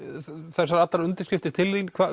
þessar undirskriftir